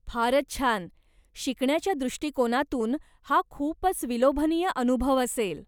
फारच छान! शिकण्याच्या दृष्टीकोनातून हा खूपच विलोभनीय अनुभव असेल.